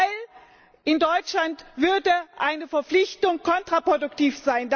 Denn in Deutschland wäre eine Verpflichtung kontraproduktiv.